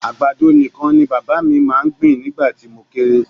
Àgbàdo nìkan ni bàbá mi máa ń gbìn nígbà tí mo kéré